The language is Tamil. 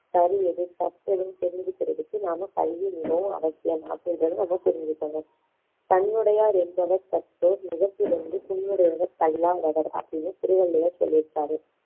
சரி எது தப்பு எதுன்னு தெரிஞ்சுக்குறதுக்கு நாம கல்வி மிகவும் அவசியம் அப்படின்றதை நாம புரிஞ்சுக்கணும் கண்ணுடையார் என்பவர் கற்றோர் முகத்திரண்டு புண்ணுடையவர் கல்லா தவர் அப்படின்னு திருவள்ளுவர் சொல்லிருக்காரு